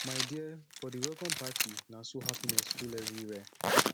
my dear for di welcome party na so happiness full everywhere